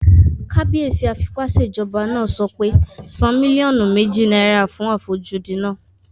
Kábíyèsí afipásèjọba náà sọ pé "san mílíọ̀nù méjì náírà fún àfojúdi náà!"